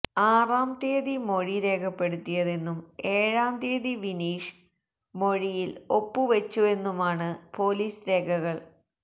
ആറാം തീയതി മൊഴി രേഖപ്പെടുത്തിയതെന്നും ഏഴാം തീയതി വിനീഷ് മൊഴിയില് ഒപ്പുവെച്ചവെന്നുമാണ് പോലീസ് രേഖകള്